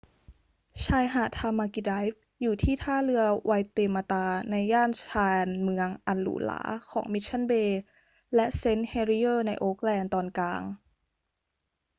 ชายหาดทามากิไดรฟ์อยู่ที่ท่าเรือไวเตมาตาในย่านชานเมืองอันหรูหราของ มิชชั่นเบย์และเซนต์เฮลิเยอร์ในโอ๊คแลนด์ตอนกลาง